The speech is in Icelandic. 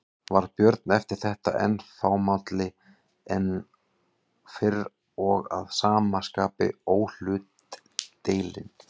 Varð Björn eftir þetta enn fámálli en fyrr og að sama skapi óhlutdeilinn.